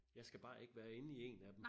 Jeg skal bare ikke være inde i en af dem